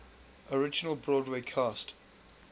original broadway cast